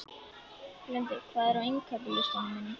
Lundi, hvað er á innkaupalistanum mínum?